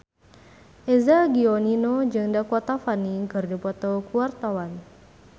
Eza Gionino jeung Dakota Fanning keur dipoto ku wartawan